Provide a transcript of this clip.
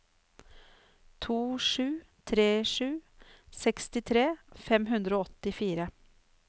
to sju tre sju sekstitre fem hundre og åttifire